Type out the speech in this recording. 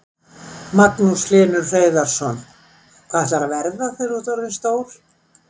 Magnús Hlynur Hreiðarsson: Hvað ætlarðu að verða þegar þú ert orðinn stór?